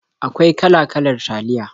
Akwai kala-kalar taliya.